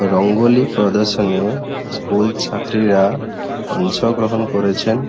রঙ্গোলি প্রদর্শনীয়ে স্কুল ছাত্রীরা অংশগ্রহণ করেছেন।